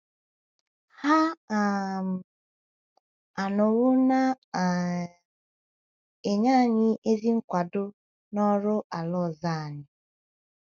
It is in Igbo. Ha um anọwo na um - enye anyị ezi nkwado n’oru ala ọzọ anyị.